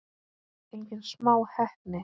Engin smá heppni!